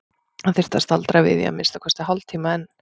Hann þyrfti að staldra við í að minnsta kosti hálftíma enn.